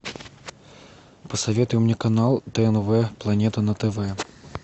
посоветуй мне канал тнв планета на тв